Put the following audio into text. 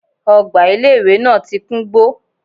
Ogbà ilé ìwé náà ti kúngbó